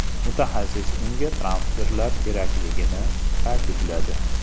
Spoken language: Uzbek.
Mutaxassis unga transferlar kerakligini ta’kidladi.